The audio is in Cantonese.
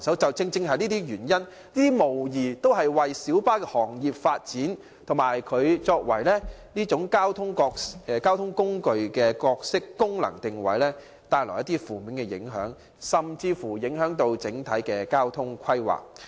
這些問題無疑為小巴的行業發展、其作為公共交通工具的角色、功能定位帶來負面影響，甚至影響本港整體的運輸規劃。